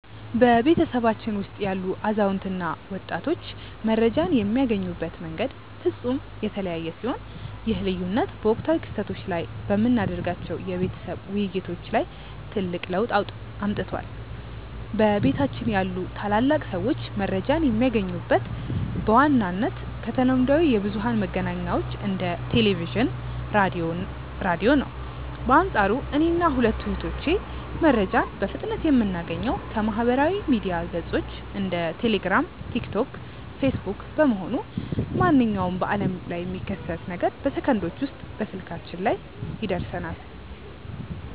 በቤተሰባችን ውስጥ ያሉ አዛውንት እና ወጣቶች መረጃን የሚያገኙበት መንገድ ፍጹም የተለያየ ሲሆን፣ ይህ ልዩነት በወቅታዊ ክስተቶች ላይ በምናደርጋቸው የቤተሰብ ውይይቶች ላይ ትልቅ ለውጥ አምጥቷል። በቤታችን ያሉ ታላላቅ ሰዎች መረጃን የሚያገኙት በዋነኝነት ከተለምዷዊ የብዙኃን መገናኛዎች እንደ ቴሌቪዥን፣ ራዲዮ ነው። በአንፃሩ እኔና ሁለቱ እህቶቼ መረጃን በፍጥነት የምናገኘው ከማኅበራዊ ሚዲያ ገጾች (እንደ ቴሌግራም፣ ቲክቶክ እና ፌስቡክ) በመሆኑ፣ ማንኛውም በዓለም ላይ የሚከሰት ነገር በሰከንዶች ውስጥ ስልካችን ላይ ይደርሰናል።